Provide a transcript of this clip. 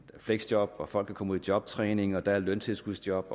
fleksjob at folk kan komme ud i jobtræning og der er løntilskudsjob